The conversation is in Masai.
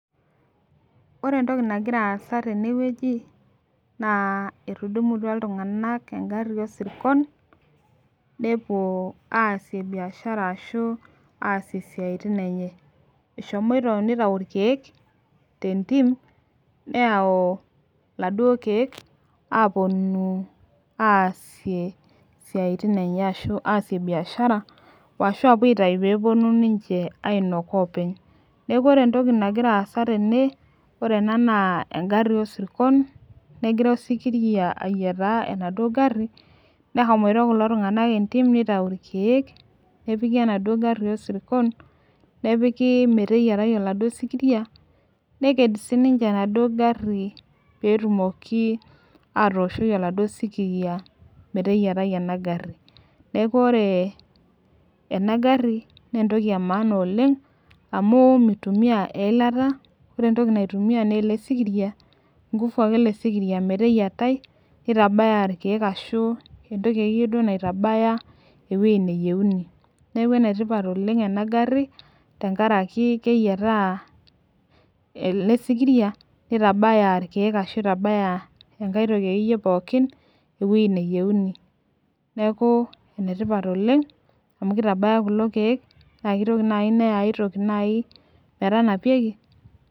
ore entoki nangira asa teneweuji naa etudumuatua iltungana engari osirkon nepuo asie biashara ashu asie isiatin enye eshomoito nepuo aitayu ilkeek tiatua entim, neyau iladuo keek aponu asie isiatin enye ashu asie biashara o ashu apuo atayu pe eponu ainok openy, niaku ore entoki nangira asa tene, ore ena na engari osirkon negira osikiria ayieta enaduo gari neshomoita kulo tungana endim nitayu ilkeek nepiki enaduo gari osirkon nepiki meteyiatai oladuo sikiria, neked sininche enaduo gari petumoki atoshoi oladuo sikiria meteyietai enaduo gari, niaku ore ena gari na entoki emanaa oleng amu mitumia eilata, ore entoki naitumia na ele sikiria inkufu ele sikiria meteyietai, nitabaya ilkeek ashu entoki akeyie naitabaya eweuji neyieuni, niaku enetipat oleng ena gari tenkaraki keyieta ele sikiria, nitabaya ilkeek ashu enkae toki akeyie pooki eweuji neyieuni, niaku enetipat oleng ena gari tenkaraki keyieta ele sikiria nitabaya ilkeek ashu itabaya entoki akeyiee pooki eweuji neyieuni, niaku enetipat oleng amu kitabaya kulo keek na kitoki naji neya aitoki naji nai metanapieki,